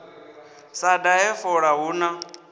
sa dahe fola hu na